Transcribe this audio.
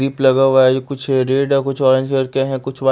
दीप लगा हुआ है जो कुछ रेड या कुछ ऑरेंज कलर के हैं कुछ व्हाइ--